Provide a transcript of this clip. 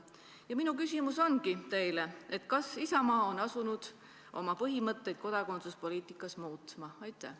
Ja minu küsimus teile ongi järgmine: kas Isamaa on asunud oma põhimõtteid kodakondsuspoliitika alal muutma?